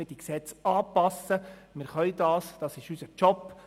Wir können das, das ist unser Job.